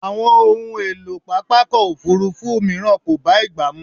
Àwọn ohun èlò pápákọ̀ òfúrúfú mìíràn kò bá ìgbà mu.